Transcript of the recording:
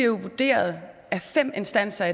vurderet af fem instanser